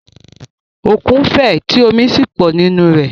Òkun fẹ̀ tí omi sì pọ̀ nínú rẹ̀.